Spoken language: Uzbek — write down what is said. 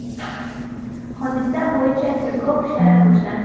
Hodisa bo‘yicha tergov ishlari boshlandi.